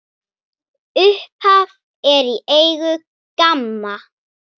Upphaf er í eigu GAMMA.